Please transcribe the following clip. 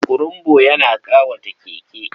Kurumbu yana ƙawata Keke.